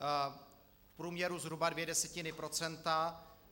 V průměru zhruba dvě desetiny procenta.